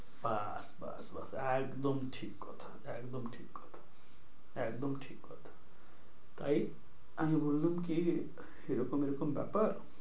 বাস বাস বাস একদম ঠিক কথা, একদম ঠিক কথা, একদম ঠিক কথা। তাই আমি বললুম কি এরকম এরকম ব্যপার,